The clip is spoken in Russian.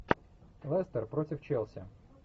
лестер против челси